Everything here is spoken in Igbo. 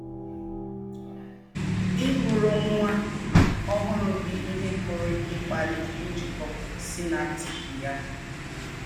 Ịgụrụ nwa ọhụrụ gị ihe pụrụ ịkpali njikọ synaptik ya.